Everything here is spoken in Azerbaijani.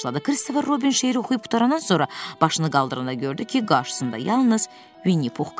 Christopher Robin şeiri oxuyub qurtarandan sonra başını qaldıranda gördü ki, qarşısında yalnız Vini Pux qalıb.